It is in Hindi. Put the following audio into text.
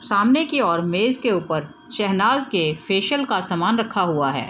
सामने की ओर मेज़ के ऊपर शहनाज के फेशियल का समान रखा हुआ है।